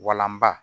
Walanba